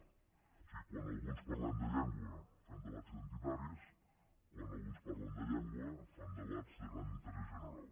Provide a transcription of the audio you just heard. o sigui quan alguns parlem de llengua fem debats identitaris quan alguns parlen de llengua fan debats de gran interès general